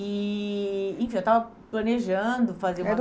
E enfim, eu estava planejando fazer uma. Era o